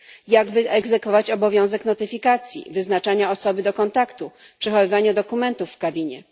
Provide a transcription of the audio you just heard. Jak wyegzekwować obowiązek notyfikacji, wyznaczania osoby do kontaktu, przechowywania dokumentów w kabinie?